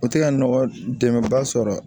O tɛ ka nɔgɔ dɛmɛ ba sɔrɔ